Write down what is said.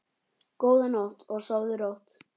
Góða nótt og sofðu rótt.